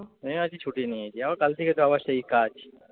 আমিও আজকে ছুটি নিয়েছি, আবার কাল থেকে তো আবার সেই কাজ।